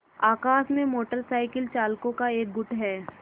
आकाश में motor cycle चालकों का एक गुट है